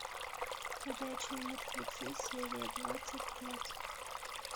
ходячие мертвецы серия двадцать пять